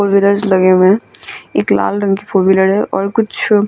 लगे हुए हैं एक लाल रंग की फोर व्हीलर है और कुछ --